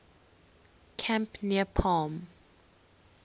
camp near palm